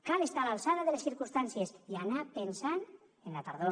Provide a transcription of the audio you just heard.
cal estar a l’alçada de les circumstàncies i anar pensant en la tardor